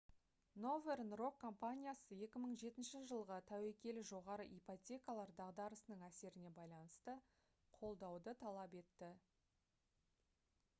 northern rock компаниясы 2007 жылғы тәуекелі жоғары ипотекалар дағдарысының әсеріне байланысты қолдауды талап етті